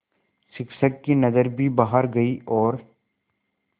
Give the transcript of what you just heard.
शिक्षक की नज़र भी बाहर गई और